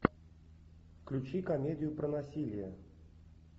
включи комедию про насилие